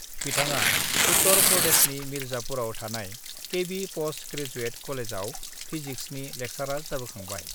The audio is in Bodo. बिथाङा उत्तर प्रदेशनि मिर्जापुराव थानाय केबि पस्ट ग्रेजुएट कलेजआव पिजिक्सनि लेक्सारार जाबोखांबाय।